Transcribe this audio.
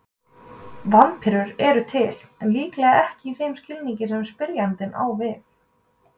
Vampírur eru til, en líklega ekki í þeim skilningi sem spyrjandi á við.